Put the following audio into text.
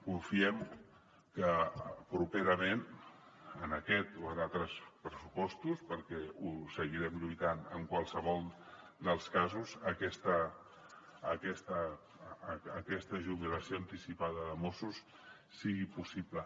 confiem que properament en aquest o en altres pressupostos perquè ho seguirem lluitant en qualsevol dels casos aquesta jubilació anticipada de mossos sigui possible